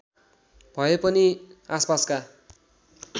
भए पनि आसपासका